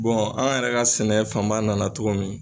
an yɛrɛ ka sɛnɛ fanba nana cogo min.